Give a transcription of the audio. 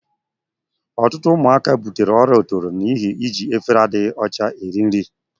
Ọtụtụ ụmụaka butere ọrịa otoro n'ihi iji efere adịghị ọcha eri nri.